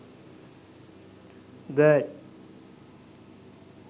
girl